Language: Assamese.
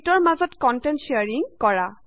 শ্যিটৰ মাজত কন্টেন্ট শ্বেয়াৰিং কৰা